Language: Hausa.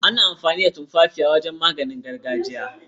Ana amfani da tumfafiya don maganin gargajiya.